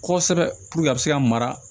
Kosɛbɛ a bɛ se ka mara